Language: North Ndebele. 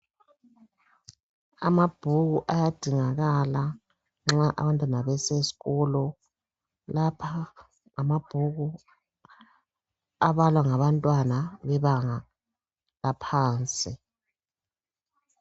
Amabhuku ayadingakala nxa abantwana bese sikolo lapha ngamabhuku abalwa ngabantwana bebanga laphansi .